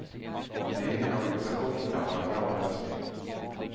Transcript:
En egen organisation kan vara en bra lösning.